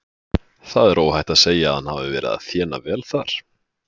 Það er óhætt að segja að hann hafi verið að þéna vel þar.